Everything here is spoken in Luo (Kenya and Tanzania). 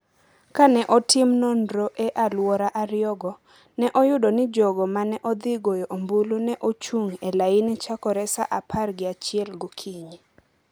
Ka ne otim nonro e alwora ariyogo, ne oyudo ni jogo ma ne odhi goyo ombulu ne ochung’ e laini chakore saa apar gi achiel okinyi.